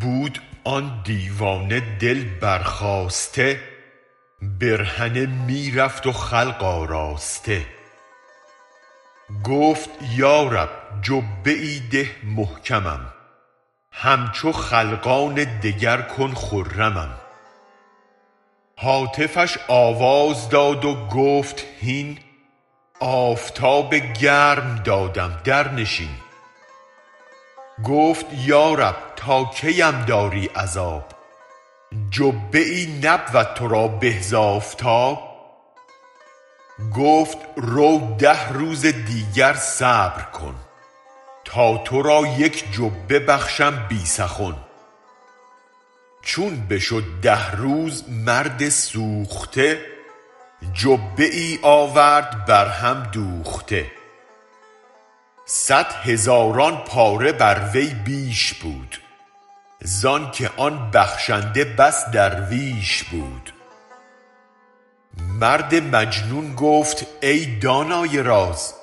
بود آن دیوانه دل برخاسته برهنه می رفت و خلق آراسته گفت یا رب جبه ای ده محکمم همچو خلقان دگر کن خرمم هاتفش آواز داد و گفت هین آفتاب گرم دادم درنشین گفت یا رب تا کیم داری عذاب جبه ای نبود ترا به ز آفتاب گفت رو ده روز دیگر صبر کن تا ترا یک جبه بخشم بی سخن چون بشد ده روز مرد سوخته جبه ای آورد بر هم دوخته صد هزاران پاره بر وی بیش بود زانکه آن بخشنده بس درویش بود مرد مجنون گفت ای دانای راز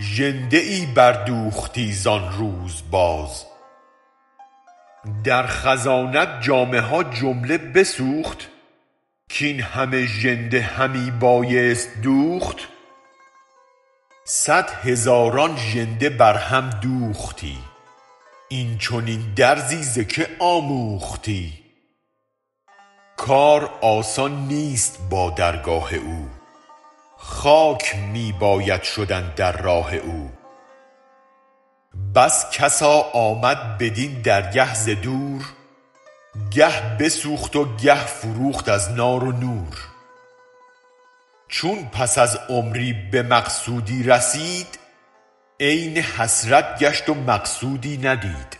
ژنده ای بر دوختی زان روز باز در خزانه ات جامه ها جمله بسوخت کاین همه ژنده همی بایست دوخت صد هزاران ژنده بر هم دوختی این چنین درزی ز که آموختی کار آسان نیست با درگاه او خاک می باید شدن در راه او بس کسا کامد بدین درگه ز دور گه بسوخت و گه فروخت از نار و نور چون پس از عمری به مقصودی رسید عین حسرت گشت و مقصودی ندید